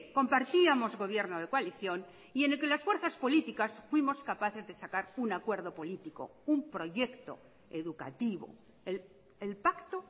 compartíamos gobierno de coalición y en el que las fuerzas políticas fuimos capaces de sacar un acuerdo político un proyecto educativo el pacto